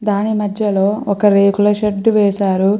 దాని మద్య లో ఒక రేకుల షెడ్ వేసారు.